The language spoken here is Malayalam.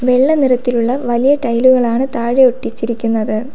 വെള്ള നിറത്തിലുള്ള വലിയ ടൈലുകളാണ് താഴെ ഒട്ടിച്ചിരിക്കുന്നത്.